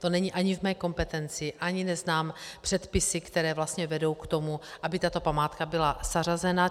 To není ani v mé kompetenci, ani neznám předpisy, které vlastně vedou k tomu, aby tato památka byla zařazena.